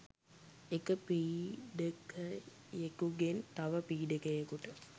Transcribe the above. එක පීඩකයෙකුගෙන් තව පීඩකයෙකුට